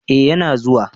Eh ya na zuwa